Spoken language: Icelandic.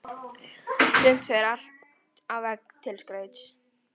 Sumt fer upp á vegg til skrauts.